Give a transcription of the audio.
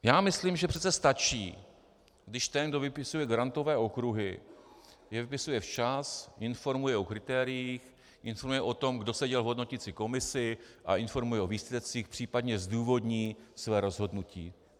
Já myslím, že přece stačí, když ten, kdo vypisuje grantové okruhy, je vypisuje včas, informuje o kritériích, informuje o tom, kdo seděl v hodnoticí komisi, a informuje o výsledcích, případně zdůvodní své rozhodnutí.